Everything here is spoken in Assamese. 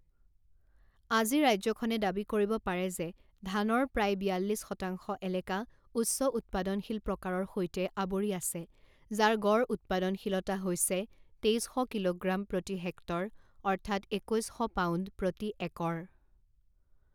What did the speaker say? আজি ৰাজ্যখনে দাবী কৰিব পাৰে যে ধানৰ প্ৰায় বিয়াল্লিছ শতাংশ এলেকা উচ্চ উৎপাদনশীল প্ৰকাৰৰ সৈতে আৱৰি আছে যাৰ গড় উৎপাদনশীলতা হৈছে তেইছ শ কিলোগ্ৰাম প্ৰতি হেক্টৰ অৰ্থাৎ একৈছ শ পাউণ্ড প্ৰতি একৰ।